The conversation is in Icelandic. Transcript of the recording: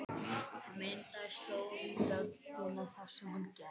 Það myndaðist slóð í dögg- ina þar sem hann gekk.